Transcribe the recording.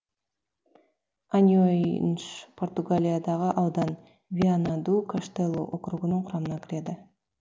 аньойнш португалиядағы аудан виана ду каштелу округінің құрамына кіреді